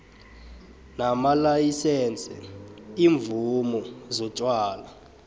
namalayisense iimvumo zotjwala